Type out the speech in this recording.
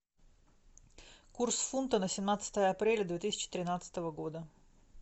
курс фунта на семнадцатое апреля две тысячи тринадцатого года